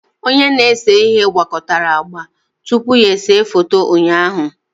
Onye na-ese ihe gwakọtara agba tupu ya ese foto ụnyaahụ